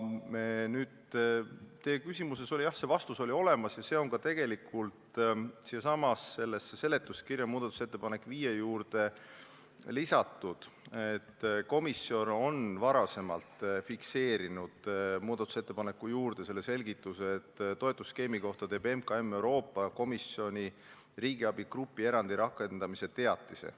Nüüd, teie küsimuses oli, jah, vastus juba olemas ja see on tegelikult ka sellesama seletuskirja viienda muudatusettepaneku alla lisatud, et komisjon fikseeris varasemalt vastava muudatusettepaneku juurde selgituse: "Toetusskeemi kohta teeb MKM Euroopa Komisjoni riigiabi grupierandi rakendamise teatise.